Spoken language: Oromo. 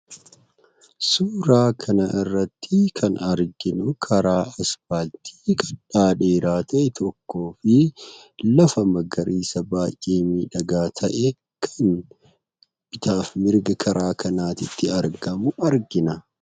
Suuraa kana irratti kan arginu karaa ispaaltii dheeraa ta'e tokko fi lafa magariisa baay'ee miidhaagaa ta'ee karaa bitaaf mirgatti argamu argina.